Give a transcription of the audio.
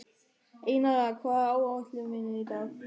Einara, hvað er á áætluninni minni í dag?